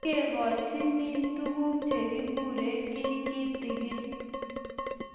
ngekochinin tuguk chegiguree kiy kitigin